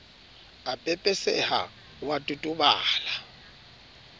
a pepeseha o a totobala